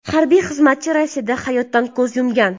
Harbiy xizmatchi Rossiyada hayotdan ko‘z yumgan.